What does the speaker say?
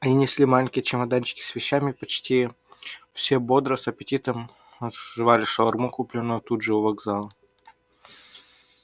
они несли маленькие чемоданчики с вещами почти все бодро с аппетитом жевали шаурму купленную тут же у вокзала